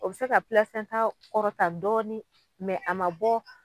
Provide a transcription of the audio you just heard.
O bɛ se ka kɔrɔta dɔɔnin a ma bɔ